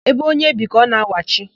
Ébé onye bi ka ọ na-awachi.